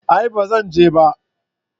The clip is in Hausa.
A'a ba Zan je ba